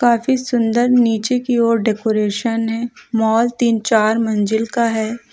काफी सुंदर नीचे की ओर डेकोरेशन है माल तीन चार मंजिल का है।